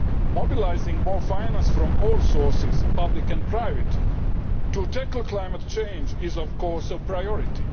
Mobilising more finance from all sources public and private to tackle climate change is, of course, a priority.